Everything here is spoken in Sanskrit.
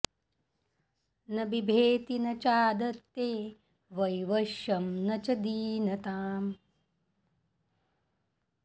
न बिभेति न चादत्ते वैवश्यं न च दीनताम्